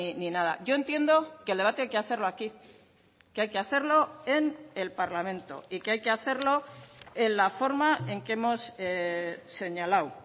ni nada yo entiendo que el debate hay que hacerlo aquí que hay que hacerlo en el parlamento y que hay que hacerlo en la forma en que hemos señalado